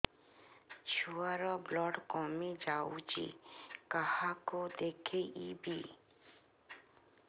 ଛୁଆ ର ବ୍ଲଡ଼ କମି ଯାଉଛି କାହାକୁ ଦେଖେଇବି